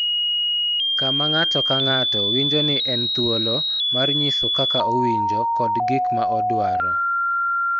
Kama ng�ato ka ng�ato winjo ni en thuolo mar nyiso kaka owinjo kod gik ma odwaro.